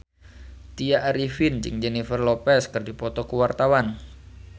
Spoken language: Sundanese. Tya Arifin jeung Jennifer Lopez keur dipoto ku wartawan